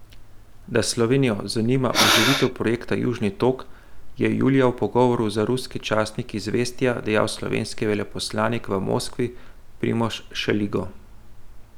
Da Slovenijo zanima oživitev projekta Južni tok, je julija v pogovoru za ruski časnik Izvestja dejal slovenski veleposlanik v Moskvi Primož Šeligo.